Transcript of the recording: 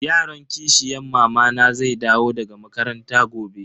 Yaron kishiyan mamana zai dawo daga makaranta gobe.